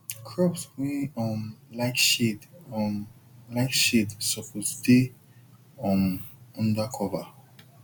crops wey um like shade um like shade suppose dey um under cover